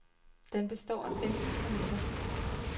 Den består af femten sonetter.